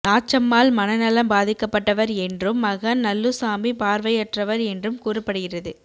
நாச்சம்மாள் மனநலம் பாதிக்கப்பட்டவர் என்றும் மகன் நல்லுசாமி பார்வையற்றவர் என்றும் கூறப்படுகிறது